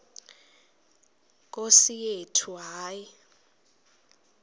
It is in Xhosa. nkosi yethu hayi